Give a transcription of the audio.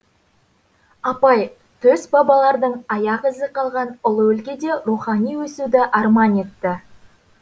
апай төс бабалардың аяқ ізі қалған ұлы өлкеде рухани өсуді арман етті